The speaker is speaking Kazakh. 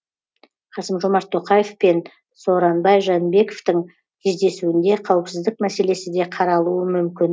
касым жомарт тоқаев пен сооронбай жээнбековтің кездесуінде қауіпсіздік мәселесі де қаралуы мүмкін